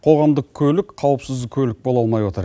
қоғамдық көлік қауіпсіз көлік бола алмай отыр